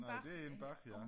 Når det inde bag ja